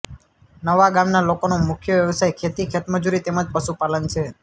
નવા ગામના લોકોનો મુખ્ય વ્યવસાય ખેતી ખેતમજૂરી તેમ જ પશુપાલન છે